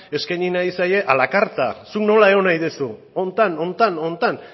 eskaini nahi zaie a la carta zuk nola egon nahi duzu honetan honetan honetan